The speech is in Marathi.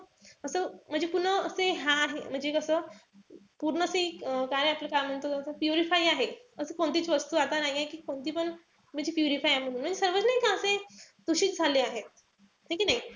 असं म्हणजे पूर्ण असे हा आहे म्हणजे कस पूर्ण ते काय आपलं काय म्हणतो purify आहे. असं कोणतीच वस्तू आता नाहीये. कि कोणती पण म्हणजे purify आहे म्हणून. सर्वच नाई का असे दूषित झाले आहे. है कि नाई?